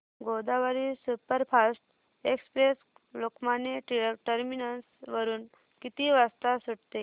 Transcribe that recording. Godavari superfast express Lokmanya Tilak terminus वरून किती वाजता सुटते